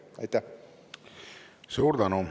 Suur tänu!